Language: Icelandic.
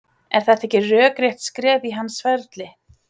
Er þetta ekki rökrétt skref á hans ferli?